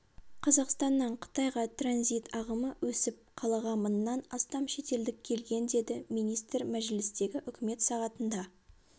қазақстаннан қытайға транзит ағымы өсіп қалаға мыңнан астам шетелдік келген деді министр мәжілістегі үкімет сағатында